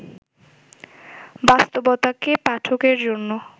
বাস্তবতাকে পাঠকের জন্য